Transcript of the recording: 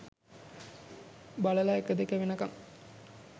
බලලා එක දෙක වෙනකං